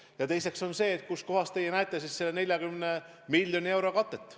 Ja teine küsimus on see, kus kohas te näete selle 40 miljoni euro katet.